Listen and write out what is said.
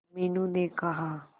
मीनू ने कहा